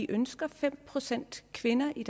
ønsker fem procent kvinder i